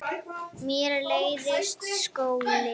Mér leiðist skóli.